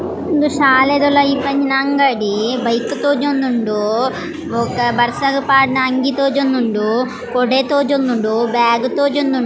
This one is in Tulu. ಉಂದು ಶಾಲೆದ ಉಲಾಯಿ ಇಪ್ಪುನಂಚಿನ ಅಂಗಡಿ ಬೈಕ್ ತೋಜೊಂದುಂಡು ಬೊಕ್ಕ ಬರ್ಸಗ್ ಪಾಡುನ ಅಂಗಿ ತೋಜೊಂದುಂಡು ಕೊಡೆ ತೋಜೊಂದುಂಡು ಬ್ಯಾಗ್ ತೋಜೊಂದುಂ --